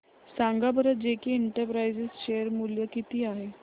सांगा बरं JK enterprises share मूल्य किती आहे